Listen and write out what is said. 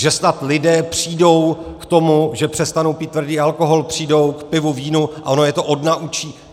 Že snad lidé přijdou k tomu, že přestanou pít tvrdý alkohol a přejdou k pivu, vínu, ono je to odnaučí.